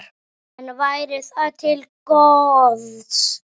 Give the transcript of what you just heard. En væri það til góðs?